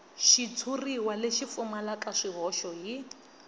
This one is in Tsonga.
xitshuriwa lexi pfumalaka swihoxo hi